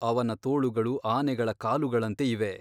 ಅವನ ತೋಳುಗಳು ಆನೆಗಳ ಕಾಲುಗಳಂತೆ ಇವೆ.